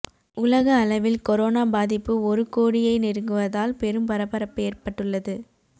உலக அளவில் கொரோனா பாதிப்பு ஒரு கோடியை நெருங்குவதால் பெரும் பரபரப்பு ஏற்பட்டுள்ளது